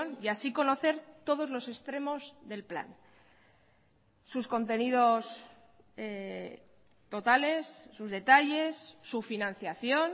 y así conocer todos los extremos del plan sus contenidos totales sus detalles su financiación